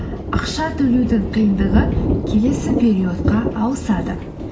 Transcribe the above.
ақша төлеудің қиындығы келесі периодқа ауысады